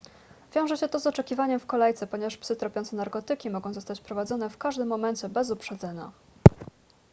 wiąże się to z oczekiwaniem w kolejce ponieważ psy tropiące narkotyki mogą zostać wprowadzone w każdym momencie bez uprzedzenia